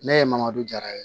Ne ye madu jara ye